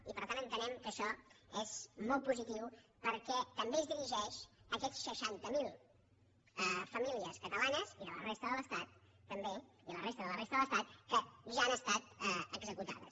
i per tant entenem que això és molt positiu perquè també es dirigeix a aquestes seixanta mil famílies catalanes i de la resta de l’estat també i la resta de la resta de l’estat que ja han estat executades